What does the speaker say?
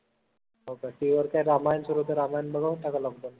TV वर काय ramayan सुरु होत ramayn बघत होता का lockdown?